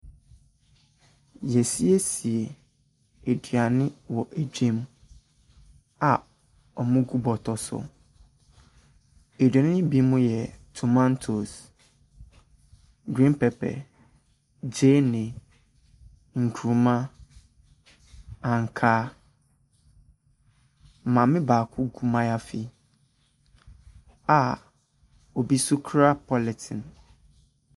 Yeasiesie aduane wɔ dwam a ɔmo gu bɔtɔ so. Aduane no bi mo yɛ tomantos, griin pɛpɛ, gyeene, nkruma, ankaa. Maame baako gu maayafi a obi so kura pɔlitin.